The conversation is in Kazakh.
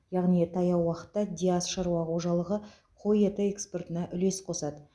яғни таяу уақытта диас шаруа қожалығы қой еті экспортына үлес қосады